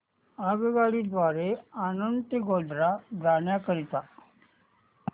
आगगाडी द्वारे आणंद ते गोध्रा जाण्या करीता